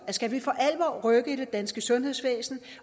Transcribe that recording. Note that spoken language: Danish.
at skal vi for alvor rykke i det danske sundhedsvæsen